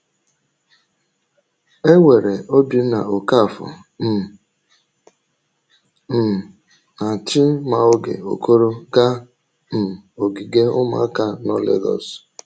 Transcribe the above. E were Obinna Okafor um um na Chimaoge Okoro gaa um ogige ụmụaka nọ Lagos.